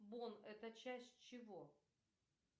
бон это часть чего